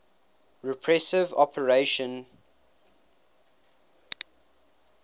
repressive operation priboi